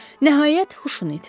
Nəhayət, huşunu itirdi.